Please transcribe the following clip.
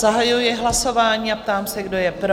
Zahajuji hlasování a ptám se, kdo je pro?